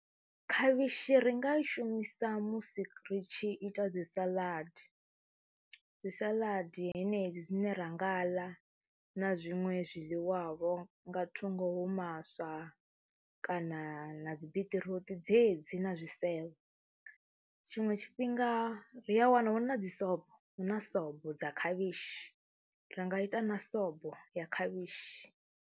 Khavhishi ri nga i shumisa musi ri tshi ita dzi salaḓi, dzi salaḓi henedzi dzine ra nga ḽa na zwiṅwe zwiḽiwavho nga thungo hu maswa kana na dzi biṱiruṱi dzedzi na zwisevho. Tshiṅwe tshifhinga ri a wana hu na dzi sobo, hu na sobo dza khavhishi, ri nga ita na sobo ya khavhishi.